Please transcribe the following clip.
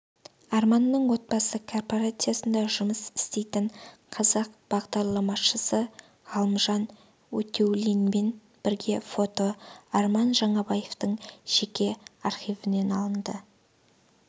арманның отбасы корпорациясында жұмыс істейтін қазақ бағдарламашысы ғалымжан өтеулинмен бірге фото арман жаңабаевтың жеке архивінен алынды